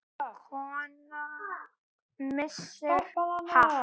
Kona missir hatt.